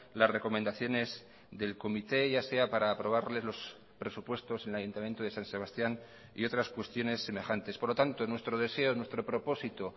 las recomendaciones del comité ya sea para aprobarles los presupuestos en el ayuntamiento de san sebastián y otras cuestiones semejantes por lo tanto nuestro deseo nuestro propósito